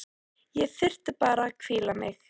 Ég þyrfti bara að hvíla mig.